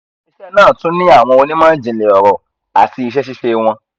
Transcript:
awọn ile-iṣẹ naa tun ni awọn onimọ-jinlẹ ọrọ ati iṣẹ-ṣiṣe wọn